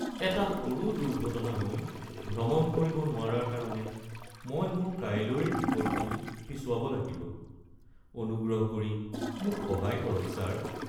এটা সৰু দুৰ্ঘটনা হৈ ভ্ৰমণ কৰিব নোৱাৰাৰ কাৰণে মই মোৰ কাইলৈৰ টিকটটো পিছুৱাব লাগিব। অনুগ্ৰহ কৰি মোক সহায় কৰক ছাৰ।